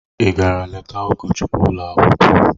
Ị gara leta ụkọchukwu ụlọ akwụkwọ?